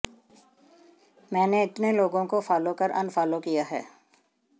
मैंने इतने लोगों को फॉलो कर अनफॉलो किया है